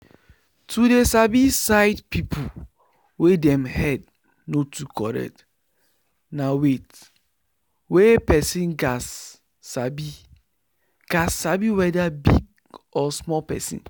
to dey sabi sight people wey dem head no too correct na weyth wey person gats sabi gats sabi weda big or small person